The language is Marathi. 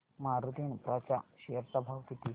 मारुती इन्फ्रा च्या शेअर चा भाव किती